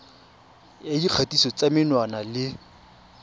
ya dikgatiso tsa menwana le